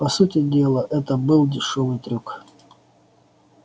по сути дела это был дешёвый трюк